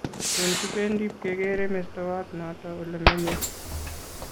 Tun kipendi pkekere mestowot noto ole menye